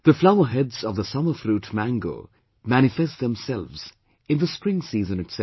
The flower heads of the summer fruit mango manifest themselves in the spring season itself